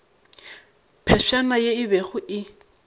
phefšana ye e bego e